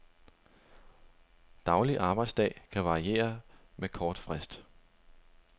Daglig arbejdsdag kan varieres med kort frist.